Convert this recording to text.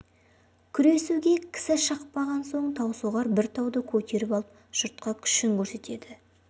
күресуге кісі шықпаған соң таусоғар бір тауды көтеріп алып жұртқа күшін көрсетеді